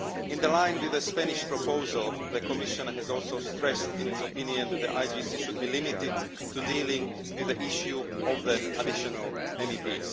In line with the Spanish proposal, the Commission has also stressed in its opinion that the IGC should be limited to dealing with the issue of the additional MEPs.